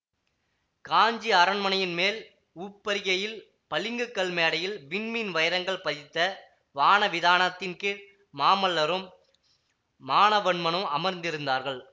காஞ்சி அரண்மனையின் மேல் உப்பரிகையில் பளிங்குக் கல் மேடையில் விண்மீன் வைரங்கள் பதித்த வான விதானத்தின் கீழ் மாமல்லரும் மானவன்மனும் அமர்ந்திருந்தார்கள்